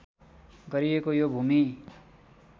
गरिएको यो भूमि